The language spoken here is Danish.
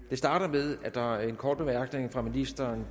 det starter med at der er en kort bemærkning fra ministeren